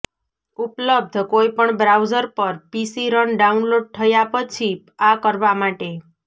ઉપલબ્ધ કોઇપણ બ્રાઉઝર પર પીસી રન ડાઉનલોડ થયા પછી આ કરવા માટે